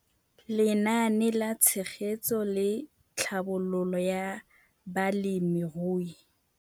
Lenaane la Tshegetso le Tlhabololo ya Balemirui.